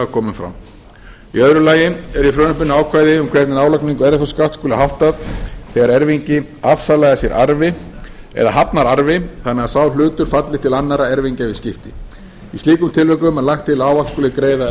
komin fram í öðru lagi er í frumvarpinu ákvæði um hvernig álagningu erfðafjárskatts skuli háttað þegar erfingi afsalaði sér arfi eða hafnar arfi þannig að sá hlutur falli til annarra erfingja við skipti í slíkum tilvikum er lagt til að ávallt skuli greiða